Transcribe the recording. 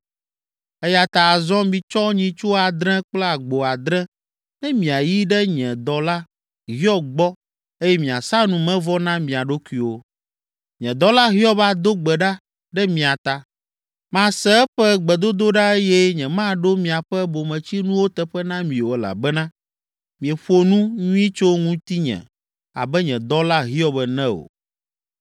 eya ta azɔ mitsɔ nyitsu adre kple agbo adre, ne miayi ɖe nye dɔla Hiob gbɔ eye miasa numevɔ na mia ɖokuiwo. Nye dɔla Hiob ado gbe ɖa ɖe mia ta, mase eƒe gbedodoɖa eye nyemaɖo miaƒe bometsinuwo teƒe na mi o elabena mieƒo nu nyui tso ŋutinye abe nye dɔla Hiob ene o.”